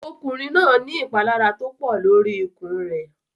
Ọkùnrin náà ní ìpalára tó pọ̀ lórí ikùn rẹ̀.